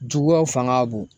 Juguyaw fanga ka bon